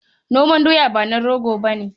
Noman doya ba na rago ba ne